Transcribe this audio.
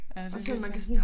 Ja det vildt flot